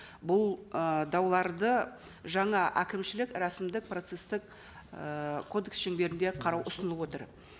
бұл ы дауларды жаңа әкімшілік рәсімдік процесстік ііі кодекс шеңберінде қарау ұсынып отыр